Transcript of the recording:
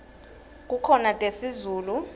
kukhona tesizulu